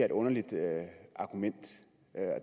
et underligt argument